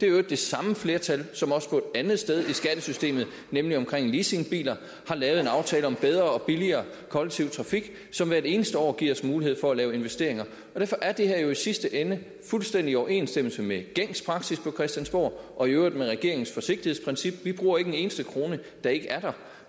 øvrigt det samme flertal som også et andet sted i skattesystemet nemlig omkring leasingbiler har lavet en aftale om bedre og billigere kollektiv trafik som hvert eneste år giver os mulighed for at lave investeringer derfor er det her jo i sidste ende fuldstændig i overensstemmelse med gængs praksis på christiansborg og i øvrigt med regeringens forsigtighedsprincip vi bruger ikke en eneste krone der ikke er der